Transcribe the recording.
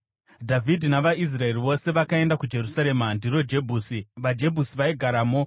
Dhavhidhi navaIsraeri vose vakaenda kuJerusarema (ndiro Jebhusi). VaJebhusi vaigaramo